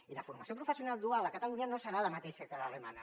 i la formació professional dual a catalunya no serà la mateixa que l’alemanya